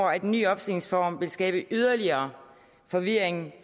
at den nye opstillingsform vil skabe yderligere forvirring